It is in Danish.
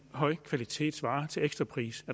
højkvalitetsvarer til ekstra pris